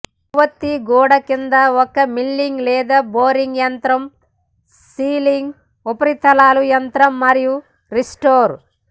కొవ్వొత్తి గూడ కింద ఒక మిల్లింగ్ లేదా బోరింగ్ యంత్రం సీలింగ్ ఉపరితలాలు యంత్రం మరియు రీస్టోర్